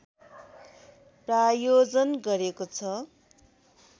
प्रायोजन गरेको छ